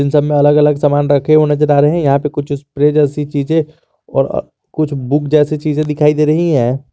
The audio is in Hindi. इन सब में अलग अलग सामान रखे हैं यहां पर कुछ स्प्रे जैसी चीजें और कुछ बुक जैसी चीजें दिखाई दे रही है।